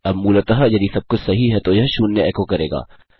अब मूलतः यदि सबकुछ सही है तो यह शून्य एको करेगा